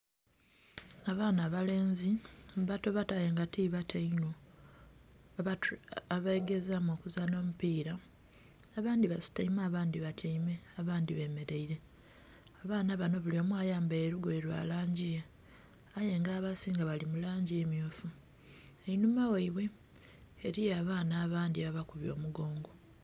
Abaana abalenzi, bato bato aye nga ti bato inho, abegezaamu okuzaana omupiira. Abandhi basitaime, abandhi batyaime, abandhi bemeleire. Abaana bano bulyomu ayambaile lugoye lwa langi ye, aye nga abasinga bali mu langi mmyufu. Einhuma ghaibwe eliyo abaana abandhi ababakubye omugongo.